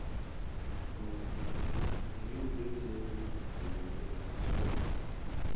um oga na you wey tell me to remove am sorry